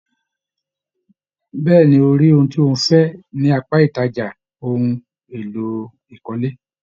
Bẹ̀ẹ́ni,o rí ohun tí o fẹ ní apá ìtajà ohùn èlò ìkọ́lé.